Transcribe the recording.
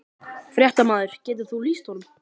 Fréttamaður: Getur þú lýst honum?